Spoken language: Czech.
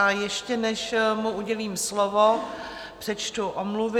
A ještě než mu udělím slovo, přečtu omluvy.